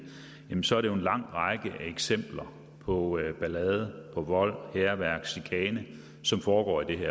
så er det jo en lang række af eksempler på ballade på vold hærværk og chikane som foregår i